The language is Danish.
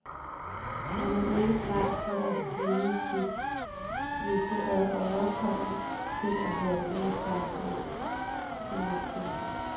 Han er ikke bleg for at yde sit, hvis det ad åre kommer til at halte med samfundsfinanserne.